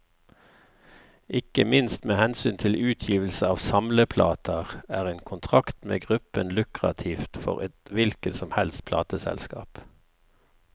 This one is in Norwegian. Ikke minst med hensyn til utgivelse av samleplater, er en kontrakt med gruppen lukrativt for et hvilket som helst plateselskap.